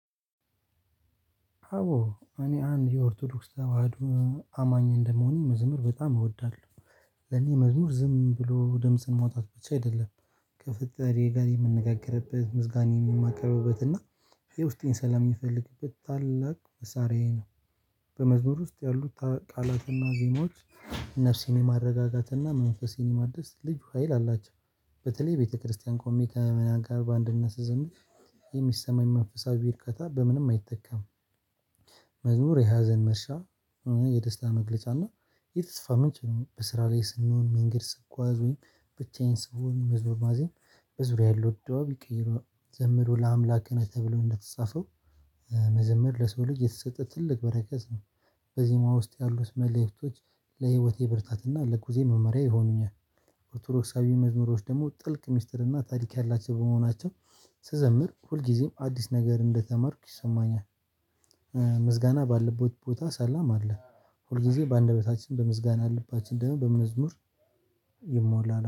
አቦ እኔ አንድ የኦርቶዶክስ ተዋህዶ አማኝ እንደመሆኔ መዝሙር በጣም እወዳለሁ። እኔ መዝሙር ዝም ብሎ ደምጽን መውጣት ብቻ አይደለም። ከፈጠሪ ጋር የምነጋገርበት ምስጋናን የሚማከበበት እና ይሄ ውስጤን ስለሚፈልግበት ታላቅ መሳሪያዬ ነው። በመዝሙር ውስጥ ያሉት ቃላትና ዜማዎች ነፍሴን የማረጋጋትና መንፈሴን የማደስ ልዩ ሀይል አላቸው። በተለይ ቤተክርስቲያን ኮሚቴ ከምና ጋር በአንድና ስዝምት የሚሰማኝ መንፈሳዊ በርካታ በምንም አይተካም። መዝሙር የሀዘን መርሻ መዝሙር የደስታ መግለጫና የተስፋ ምንጭ ነው። በስራ ላይ ስንሆን መንገድ ስጓዝ ወይም ብቻዬን ስሆን መዝሙር ማዜም በዙሪያ ያለው ደብዳቤ ቀይሮ ዘምሮ ለአምላክ ገና ተብሎ እንደተጻፈው። መዘምር ለሰው ልጅ የተሰጠ ትልቅ በረከት ነው። በዚህ መዋዕት ያሉት መልእክቶች ለህይወቴ ብርታትና ለህይዎቴ መመሪያ ይሆኑኛል። ኦርቶዶክሳዊ መዝሙሮች ደግሞ ጥልቅ ሚስጥር እና ታሪክ ያላቸው በመሆናቸው ስዘምር ሁልጊዜም አዲስ ነገር እንደተማርኩ ይሰማኛል። ምስጋና ባለበት ቦታ ሰላም አለ። ሁልጊዜ በአንደበታችን በምስጋና ልባችን ደህና በመዝሙር ይሞላል